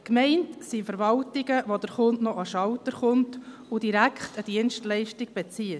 Gemeint sind Verwaltungen, bei denen der Kunde noch an den Schalter kommt und direkt eine Dienstleistung bezieht.